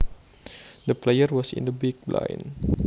The player was in the big blind